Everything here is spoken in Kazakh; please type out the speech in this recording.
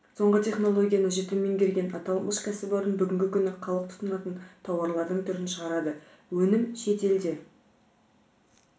соңғы технологияны жіті меңгерген аталмыш кәсіпорын бүгінгі күні халық тұтынатын тауарлардың түрін шығарады өнім шет елде